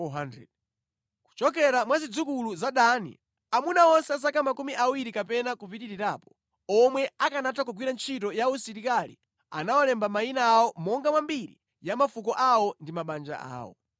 Kuchokera mwa zidzukulu za Dani: Amuna onse a zaka makumi awiri kapena kupitirirapo, omwe akanatha kugwira ntchito ya usilikali anawalemba mayina awo monga mwa mbiri ya mafuko awo ndi mabanja awo.